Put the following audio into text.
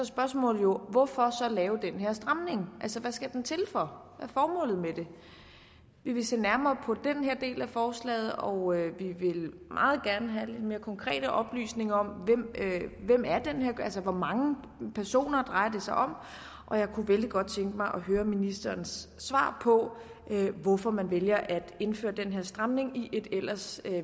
spørgsmålet jo hvorfor så lave den her stramning altså hvad skal den til for er formålet med det vi vil se nærmere på den her del af forslaget og vi vil meget gerne have lidt mere konkrete oplysninger om hvor mange personer det drejer sig om og jeg kunne vældig godt tænke mig at høre ministerens svar på hvorfor man vælger at indføre den her stramning i et ellers